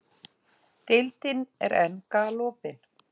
Deildin er enn galopin